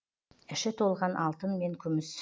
іші толған алтын мен күміс